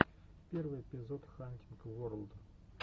первый эпизод хантинг ворлд